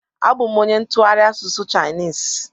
Abụ m onye ntụgharị asụsụ Chainis